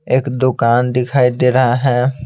एक दुकान दिखाई दे रहा है।